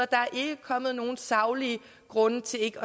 der er ikke kommet nogen saglige grunde til ikke